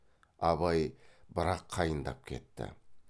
абай бірақ қайындап кетті